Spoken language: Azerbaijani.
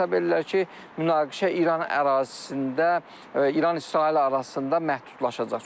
Hesab edirlər ki, münaqişə İran ərazisində İran İsrail arasında məhdudlaşacaq.